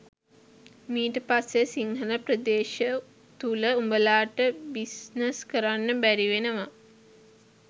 මීට පස්සේ සිංහල ප්‍රදේශ තුල උඹලාට බිස්නස් කරන්න බැරිවෙනවා.